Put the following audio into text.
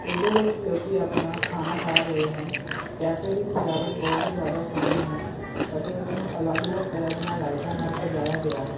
ਇਹਦੇ ਵਿੱਚ ਲੋਕੀ ਆਪਣਾ ਖਾਣਾ ਖਾ ਰਹੇ ਹਨ ਕੈਫੇ ਦੀ ਸਜਾਵਟ ਬਹੁਤ ਹੀ ਜਿਆਦਾ ਸੋਹਣੀ ਹੈ ਅਤੇ ਉਸਨੂੰ ਅਲੱਗ ਅਲੱਗ ਤਰ੍ਹਾਂ ਦੀਆਂ ਲਾਈਟਾਂ ਨਾਲ ਸਜਾਇਆ ਗਿਆ ਹੈ।